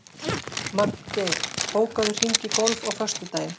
Magngeir, bókaðu hring í golf á föstudaginn.